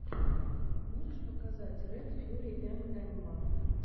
можешь показать ред фьюри эмэма